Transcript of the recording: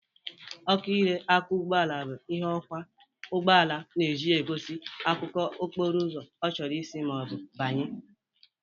Ọkụ ịrụ aka ụgbọala bụ ihe ọkwọ ụgboala na-eji egosi akụkụ okporo ụzọ ọ chọrọ isi ma ọ bụ ịbanye.